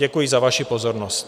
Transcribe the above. Děkuji za vaši pozornost.